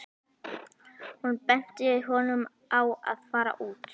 Hún benti honum á að fara út.